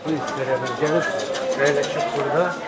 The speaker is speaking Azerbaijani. Bu gəlib əyləşib burda.